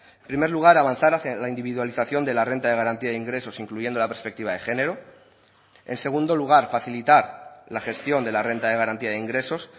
en primer lugar avanzar hacia la individualización de la renta de garantía de ingresos incluyendo la perspectiva de género en segundo lugar facilitar la gestión de la renta de garantía de ingresos